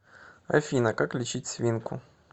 афина как лечить свинку